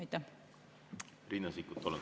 Riina Sikkut, palun!